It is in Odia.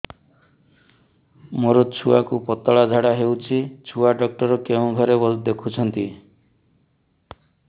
ମୋର ଛୁଆକୁ ପତଳା ଝାଡ଼ା ହେଉଛି ଛୁଆ ଡକ୍ଟର କେଉଁ ଘରେ ଦେଖୁଛନ୍ତି